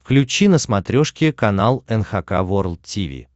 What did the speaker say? включи на смотрешке канал эн эйч кей волд ти ви